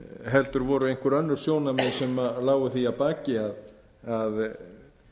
heldur voru einhver önnur sjónarmið sem lágu því að baki að